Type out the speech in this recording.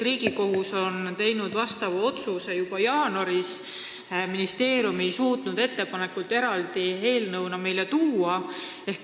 Riigikohus tegi asjakohase otsuse juba jaanuaris, aga ministeerium ei suutnud lahendust eraldi eelnõuna meile esitada.